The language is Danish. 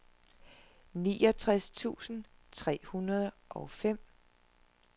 niogtres tusind tre hundrede og fem